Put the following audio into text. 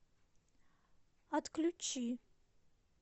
отключи